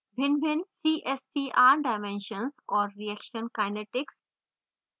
भिन्नभिन्न cstr dimensions और reaction kinetics